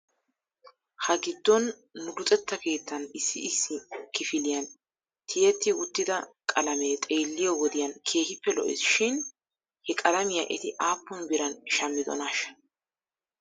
Ha giddon nu luxxetta keettan issi issi kifiliyan tiyettiwttida qalamee xeelliyoo wodiyan keehippe lo'es shin he qalamiyaa eti aappn biran shammidonaashsha?